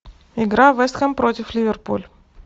игра вест хэм против ливерпуль